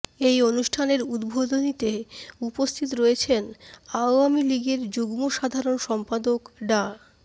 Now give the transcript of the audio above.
এই অনুষ্ঠানের উদ্বোধনীতে উপস্থিত রয়েছেন আওয়ামী লীগের যুগ্ম সাধারণ সম্পাদক ডা